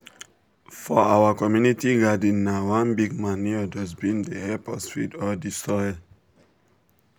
for our community garden na one big manure dustbin dey help us feed all the soil.